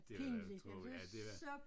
Det vil jeg tro ja det da